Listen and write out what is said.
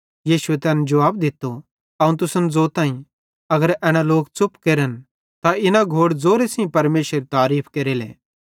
यीशुए तैन जुवाब दित्तो अवं तुसन ज़ोताईं अगर एना लोक च़ुप केरन त इना घोड़ ज़ोरे सेइं परमेशरेरी तारीफ़ केरेले